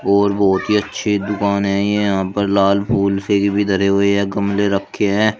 और बहोत ही अच्छी दुकान है ये यहां पर लाल फूल से भी धरे हुए हैं गमले रखे हैं।